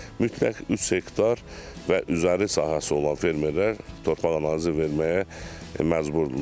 mütləq üç hektar və üzəri sahəsi olan fermerlər torpaq analizi verməyə məcburdular.